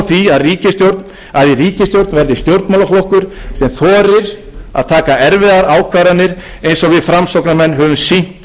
er brýn þörf á því að í ríkisstjórn verði stjórnmálaflokkur sem þorir að taka erfiðar ákvarðanir eins og við framsóknarmenn höfum sýnt